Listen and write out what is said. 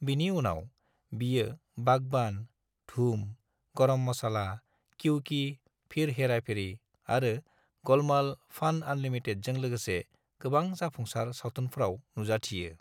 बिनि उनाव, बियो बागबान, धूम, गरम मसाला, क्यों की, फिर हेरा फेरी आरो गोलमाल: फ'न आनलिमिटेडजों लोगोसे गोबां जाफुंसार सावथुनफ्राव नुजाथियो।